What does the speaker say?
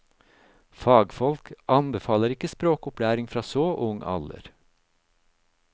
Fagfolk anbefaler ikke språkopplæring fra så ung alder.